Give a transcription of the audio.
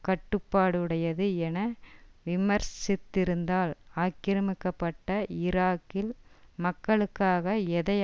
கட்டுப்பாடுடையது என விமர்சித்திருந்தால் ஆக்கிரமிக்கப்பட்ட ஈராக்கில் மக்களுக்காக எதை